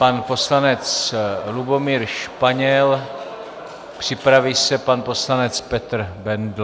Pan poslanec Lubomír Španěl, připraví se pan poslanec Petr Bendl.